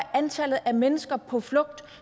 antallet af mennesker på flugt